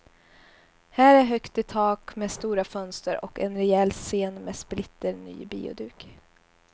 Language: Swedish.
Här är högt i tak med stora fönster och en rejäl scen med splitter ny bioduk.